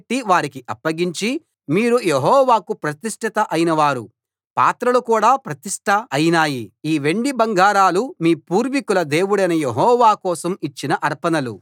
వారికి అప్పగించి మీరు యెహోవాకు ప్రతిష్ట అయినవారు పాత్రలు కూడా ప్రతిష్ట అయినాయి ఈ వెండి బంగారాలు మీ పూర్వీకుల దేవుడైన యెహోవా కోసం ఇచ్చిన అర్పణలు